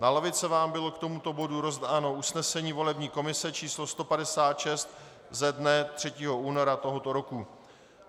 Na lavice vám bylo k tomuto bodu rozdáno usnesení volební komise číslo 156 ze dne 3. února tohoto roku.